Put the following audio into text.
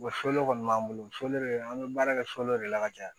Wa fole kɔni b'an bolo foli de an bɛ baara kɛ sodenw de la ka caya